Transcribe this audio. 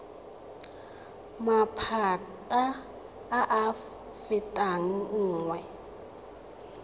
maphata a a fetang nngwe